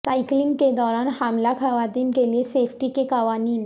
cycling کے دوران حاملہ خواتین کے لئے سیفٹی کے قوانین